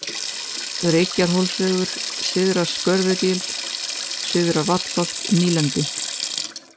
Reykjarhólsvegur, Syðra Skörðugil, Syðra-Vallholt, Nýlendi